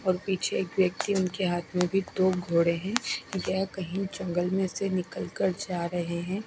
और पीछे एक व्यक्ति उनके हाथ में भी दो घोड़े हैं येहं कहीं जंगल में से निकल कर जा रहे है।